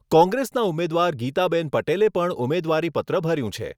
કોંગ્રેસનાં ઉમેદવાર ગીતાબેન પટેલે પણ ઉમેદવારીપત્ર ભર્યું છે.